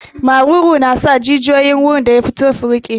Maruru na sa jijiyoyin gurin da ya fito su riƙe.